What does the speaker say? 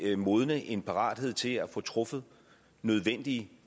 vil modne en parathed til at få truffet nødvendige